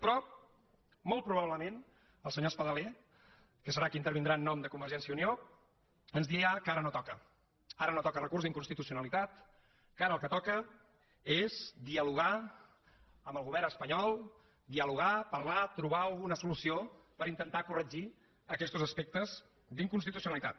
però molt probablement el senyor espadaler que serà qui intervindrà en nom de convergència i unió ens dirà que ara no toca ara no toca recurs d’inconstitucionalitat que ara el que toca és dialogar amb el govern espanyol dialogar parlar trobar alguna solució per intentar corregir aquestos aspectes d’inconstitucionalitat